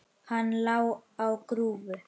Hann lá á grúfu.